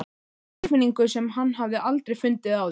Tilfinningu sem hann hafði aldrei fundið áður.